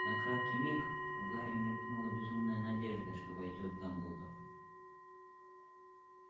на краткий миг у гарри мелькнула безумная надежда что войдёт дамблдор